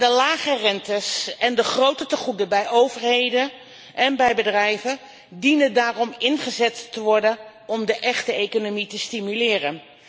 De lage rentes en de grote tegoeden bij overheden en bij bedrijven dienen daarom ingezet te worden om de echte economie te stimuleren.